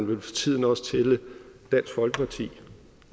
vel for tiden også tælles dansk folkeparti